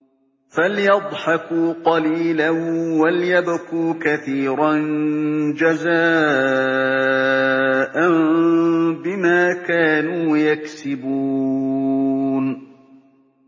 فَلْيَضْحَكُوا قَلِيلًا وَلْيَبْكُوا كَثِيرًا جَزَاءً بِمَا كَانُوا يَكْسِبُونَ